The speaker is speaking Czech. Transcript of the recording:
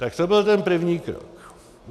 Tak to byl ten první krok.